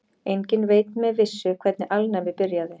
Enginn veit með vissu hvernig alnæmi byrjaði.